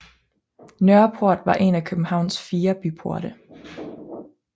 Nørreport var en af Københavns fire byporte